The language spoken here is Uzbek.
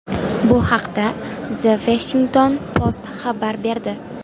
Bu haqda The Washington Post xabar berdi.